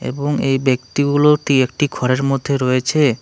এবং এই ব্যক্তিগুলোটি একটি ঘরের মধ্যে রয়েছে।